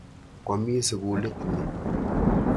Kwami sukulit ni.